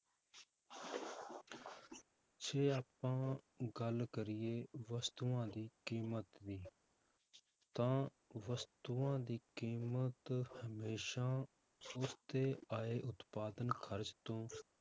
ਜੇ ਆਪਾਂ ਗੱਲ ਕਰੀਏ ਵਸਤੂਆਂ ਦੀ ਕੀਮਤ ਦੀ ਤਾਂ ਵਸਤੂਆਂ ਦੀ ਕੀਮਤ ਹਮੇਸ਼ਾ ਉਸਤੇ ਆਏ ਉਤਪਾਦਨ ਖ਼ਰਚ ਤੋਂ